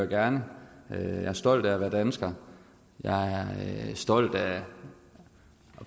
gerne jeg er stolt af at være dansker jeg er stolt af at